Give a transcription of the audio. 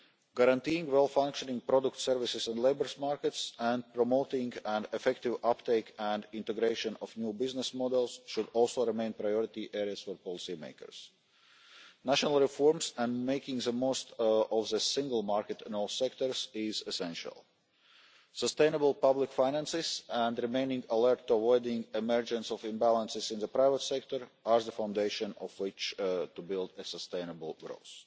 Guaranteeing well functioning product services and labour markets and promoting an effective uptake and integration of new business models should also remain priority areas for policy makers. National reforms and making the most of the single market in all sectors are essential. Sustainable public finances and remaining alert to the emergence of imbalances in the private sector are the foundation on which to build a sustainable